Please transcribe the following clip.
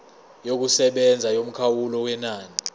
yokusebenza yomkhawulo wenani